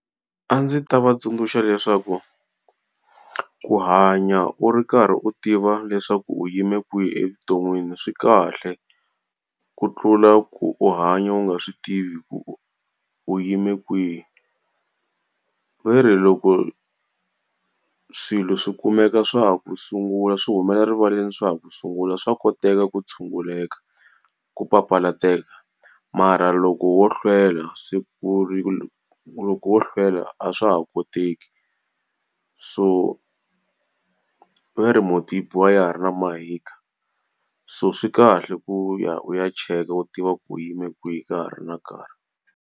A ndzi ta va tsundzuxa leswaku, ku hanya u ri karhi u tiva leswaku u yime kwihi evuton'wini swi kahle ku tlula ku u hanya u nga swi tivi ku u u yime kwihi. Va ri loko swilo swi kumeka swa ku sungula swi humela rivaleni swa ha ku sungula swa koteka ku tshunguleka ku papalateka, mara loko wo hlwela loko wo hlwela a swa ha koteki. So va ri mhunti yi biwa wa ya ha ri na mahika, so swi kahle ku ya u ya cheka u tiva ku u yime kwini ka ha ri na nkarhi.